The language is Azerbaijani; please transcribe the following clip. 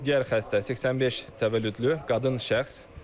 Digər xəstə 85 təvəllüdlü qadın şəxs.